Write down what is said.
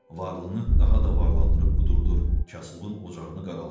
Varlını daha da varlandırıb qudurdur, kasıbın ocağını qaraldır.